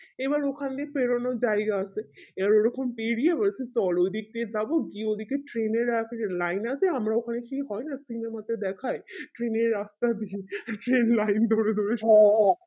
এবার ওখান দিয়ে পেরোনোর জায়গা আছে এবার ওই রকম পেরিয়ে বলছে চল ওই দিকদিয়ে যাবো গিয়ে ওই দিকে train এর রাতে যে line আছে না ওখানে কি হয় সিংহের মতো দেখায় train এর রাস্তা দিয়ে সে line ধরে ধরে সো